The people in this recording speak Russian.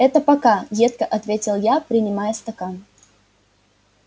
это пока едко ответил я принимая стакан